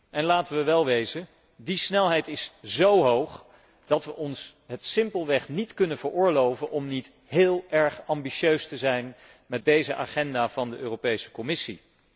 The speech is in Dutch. En laten we wel wezen die snelheid is zo hoog dat we ons het simpelweg niet kunnen veroorloven om niet heel erg ambitieus te zijn met deze agenda van de Commissie.